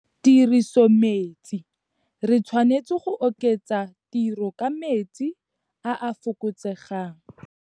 Tirisometsi - re tshwanetse go oketsa tiro ka metsi a a fokotsegang.